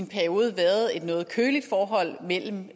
en periode været et noget kølig forhold mellem